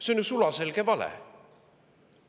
See on ju sulaselge vale.